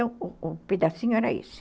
Então, o pedacinho era esse.